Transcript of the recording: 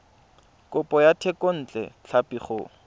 kopo ya thekontle tlhapi go